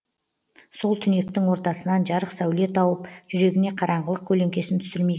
сол түнектің ортасынан жарық сәуле тауып жүрегіне қараңғылық көлеңкесін түсірмей